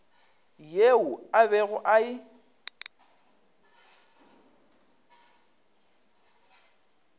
yeo a bego a e